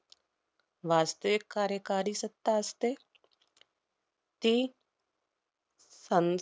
वास्तविक कार्यकारी सत्ता असते. ती सं~